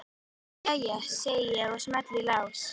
Jæja, segi ég og smelli í lás.